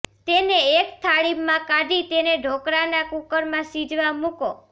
તેને એક થાળીમાં કાઢી તેને ઢોકળાના કુકરમાં સીજવા મુકો